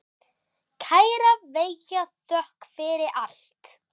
Kæra Veiga, þökk fyrir allt.